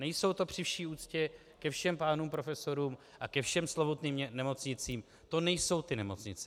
Nejsou to při vší úctě ke všem pánům profesorům a ke všem slovutným nemocnicím, to nejsou ty nemocnice.